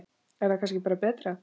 Er það kannski bara betra?